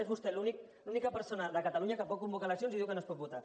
és vostè l’única persona de catalunya que pot convocar eleccions i diu que no es pot votar